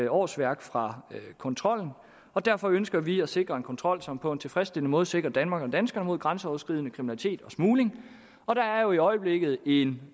årsværk fra kontrollen og derfor ønsker vi at sikre en kontrol som på en tilfredsstillende måde sikrer danmark og danskerne mod grænseoverskridende kriminalitet og smugling og der er jo i øjeblikket en